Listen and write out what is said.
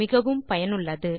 மிகவும் பயனுள்ளது